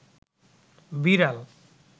বিড়াল